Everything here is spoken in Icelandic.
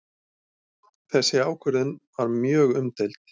Þessi ákvörðun var mjög umdeild